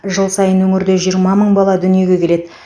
жыл сайын өңірде жиырма мың бала дүниеге келеді